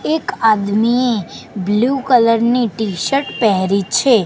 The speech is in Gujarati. એક આદમી બ્લુ કલર ની ટીશર્ટ પેહરી છે.